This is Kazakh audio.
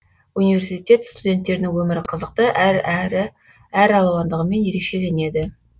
университет студенттерінің өмірі қызықты әрі әр алуандығымен ерекшеленеді